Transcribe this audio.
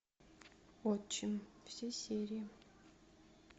отчим все серии